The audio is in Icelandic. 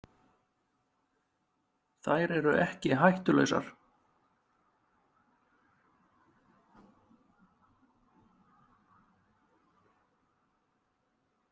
Þær eru ekki hættulausar.